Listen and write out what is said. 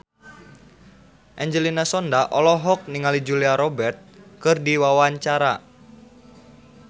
Angelina Sondakh olohok ningali Julia Robert keur diwawancara